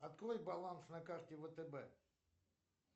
открой баланс на карте втб